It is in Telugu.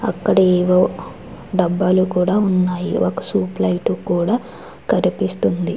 అక్కడేదో డబ్బాలు కూడా ఉన్నాయి ఒక సూప్ లైటు కూడా కనిపిస్తుంది.